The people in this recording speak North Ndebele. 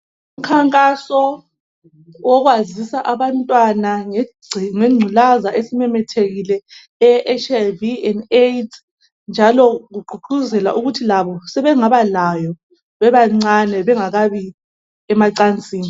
Umkhankaso wokwazisa abantwana ngengculaza esimemethekile eyeHIV and AIDS njalo ugqugquzela ukuthi labo sebengaba layo bebancane bengakayi emacansini.